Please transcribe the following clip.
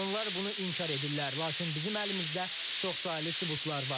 Onlar bunu inkar edirlər, lakin bizim əlimizdə çoxsaylı sübutlar var.